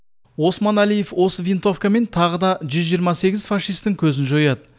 османәлиев осы винтовкамен тағы да жүз жиырма сегіз фашистің көзін жояды